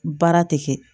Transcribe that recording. Baara tɛ kɛ